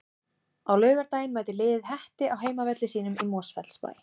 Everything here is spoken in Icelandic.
Á laugardaginn mætir liðið Hetti á heimavelli sínum í Mosfellsbæ.